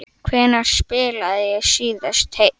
Hvenær spilaði ég síðast heill?